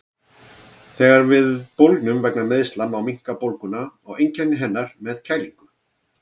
Þegar við bólgnum vegna meiðsla má minnka bólguna og einkenni hennar með að kælingu.